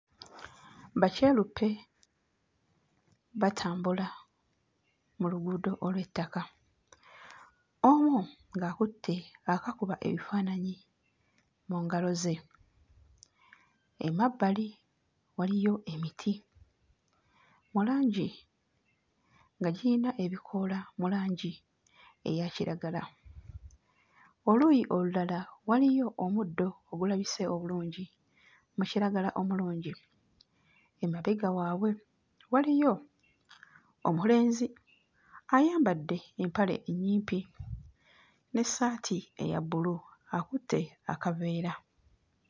Bakyeruppe batambula mu luguudo olw'ettaka, omu ng'akutte akakuba ebifaananyi mu ngalo ze. Emabbali waliyo emiti mu langi nga giyina ebikoola mu langi eya kiragala, oluuyi olulala waliyo omuddo ogulabise obulungi mu kiragala omulungi. Emabega waabwe waliyo omulenzi ayambadde empale ennyimpi n'essaati eya bbulu, akutte akaveera.